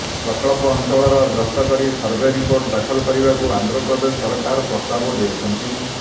ପ୍ରକଳ୍ପ ଅଂଚଳ ଗସ୍ତ କରି ସର୍ଭେ ରିପୋର୍ଟ ଦାଖଲ କରିବାକୁ ଆନ୍ଧ୍ରପ୍ରଦେଶ ସରକାର ପ୍ରସ୍ତାବ ଦେଇଛନ୍ତି